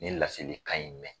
Nin ye laseli kan in mɛn.